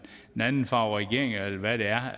anden farve regering eller hvad det er